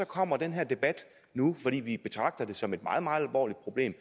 kommer den her debat nu fordi vi betragter det som et meget meget alvorligt problem